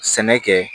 Sɛnɛ kɛ